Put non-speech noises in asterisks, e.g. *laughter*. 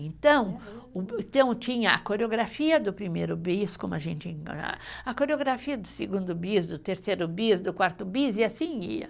Então, então tinha a coreografia do primeiro bis, como a gente, *unintelligible* a coreografia do segundo bis, do terceiro bis, do quarto bis, e assim ia.